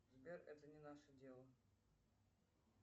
сбер это не наше дело